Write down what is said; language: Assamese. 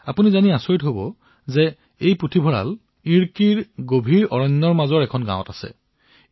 আপোনালোকে এয়া জানি আচৰিত হব যে এই পুথিভঁৰাল ইডুক্কীৰ ঘন অৰণ্যৰ মাজত থকা এখন গাঁৱত আছে